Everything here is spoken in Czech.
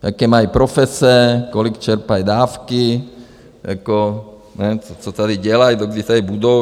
Jaké mají profese, kolik čerpají dávky, co tady dělají, dokdy tady budou.